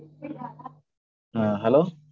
ஆஹ் hello